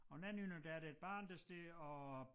Og den anden ende der er der et barn der står og